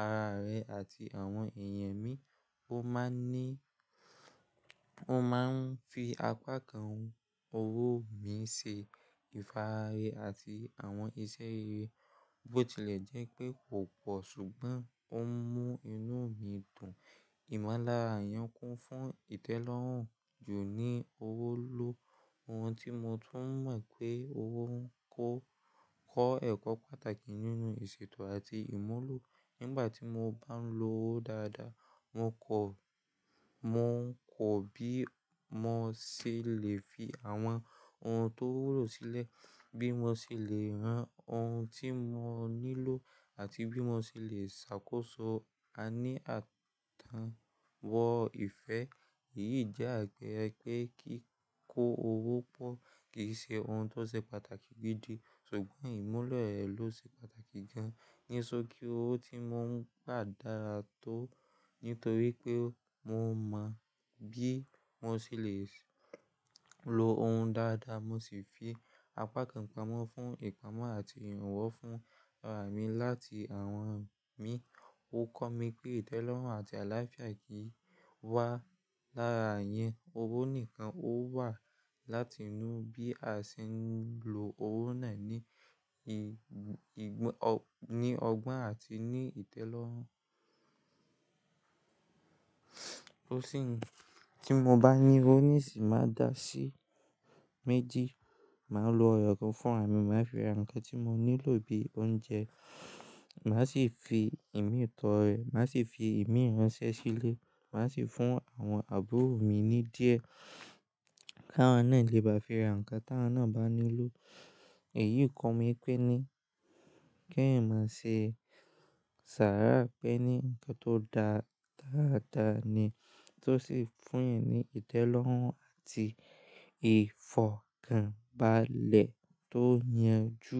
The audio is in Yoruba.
ara rẹ àti àwọn èèyàn mi, ó máa ń ni mo máa ń fi apá kan owó mi ṣe ìfara rẹ àti àwọn iṣẹ́ rere, bó tilẹ̀ jẹ́ pé kò pọ̀ ṣùgbọ́n ó ń mú inú mi dùn. Ìmọ̀lára èèyàn kún fún ìtẹ́lọ́rùn ju ní owó lọ. Ohun tí mo tún mọ̀ pé owó ń kọ́ ẹ̀kọ́ pàtàkì nínú ìṣètò àti ìmúlò. Nígbà tí mo bá ń lo owó dáadáa, mo kọ̀ bí mo ṣe lè fi àwọn ohun tó wúlò sílẹ̀, bí mo ṣe lè rán ohun tí mo nílò àti bí mo ṣe lè ṣàkóso a ní àtàn wọ ìfẹ́. Èyí jẹ́ àpeeré pé kí kó owó pọ̀ kì í ṣe ohun tó ṣe pàtàkì gidi, ṣùgbọ́n ìmúlo rẹ̀ ló ṣe pàtàkì gan. Ní ṣokí owó tí mo ń gbà dára tó, nítorí pé mo mọ̀ bí mo ṣe lè lo òhun dáadáa, mo sì fi apá kan pamọ́ fún ìpamọ́ àti ìrànwọ́ fún ara mi láti àwọn mi. Ó kọ́ mi pé ìtẹ́lọ́rùn àti àlàáfíà kì wá lára iyén, owó nìkan ó wà láti inú bí a ṣe ń lo owó náà ní ọgbọ́n àti ní ìtẹ́lọ́rùn. Tí mo bá ní owó nísín, màá dàá sí méjì. Màá lo eyọ́kan fún ara mi, màá fi ara nǹkan tí mo nílò bí oúnjẹ, màá sì fi ìmi tọ́ rẹ̀, màá sì fi ìmi ìránṣẹ́ sílẹ̀, màá sì fún àwọn àbúrò mi ní díẹ̀ kí àwọn náà lè bá fi ra nǹkan tí àwọn náà bá nílò. Èyí kọ́ mi pé ní kí èèyàn má ṣe ṣàrà pé ní nǹkan tó dáa dáadáa ni tó sì fún ẹ ní ìtẹ́lọ́rùn àti ìfọ̀kànbalẹ̀ tó yanjú.